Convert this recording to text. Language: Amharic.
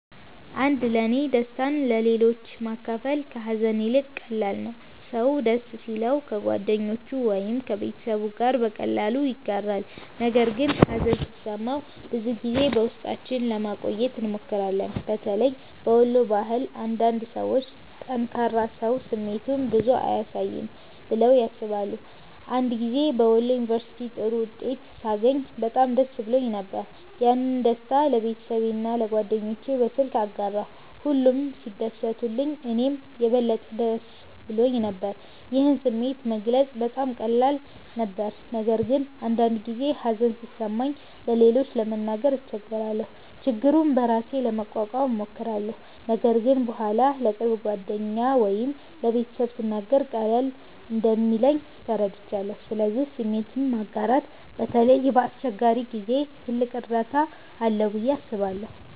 1ለእኔ ደስታን ለሌሎች ማካፈል ከሀዘን ይልቅ ቀላል ነው። ሰው ደስ ሲለው ከጓደኞቹ ወይም ከቤተሰቡ ጋር በቀላሉ ያጋራል፣ ነገር ግን ሀዘን ሲሰማን ብዙ ጊዜ በውስጣችን ለማቆየት እንሞክራለን። በተለይ በወሎ ባህል አንዳንድ ሰዎች “ጠንካራ ሰው ስሜቱን ብዙ አያሳይም” ብለው ያስባሉ። አንድ ጊዜ በወሎ ዩንቨርስቲ ጥሩ ውጤት ሳገኝ በጣም ደስ ብሎኝ ነበር። ያንን ደስታ ለቤተሰቤና ለጓደኞቼ በስልክ አጋራሁ፣ ሁሉም ሲደሰቱልኝ እኔም የበለጠ ደስ ብሎኝ ነበር። ይህን ስሜት መግለጽ በጣም ቀላል ነበር። ነገር ግን አንዳንድ ጊዜ ሀዘን ሲሰማኝ ለሌሎች ለመናገር እቸገራለሁ። ችግሩን በራሴ ለመቋቋም እሞክራለሁ፣ ነገር ግን በኋላ ለቅርብ ጓደኛ ወይም ለቤተሰብ ስናገር ቀለል እንደሚለኝ ተረድቻለሁ። ስለዚህ ስሜትን ማጋራት በተለይ በአስቸጋሪ ጊዜ ትልቅ እርዳታ አለው ብዬ አስባለሁ።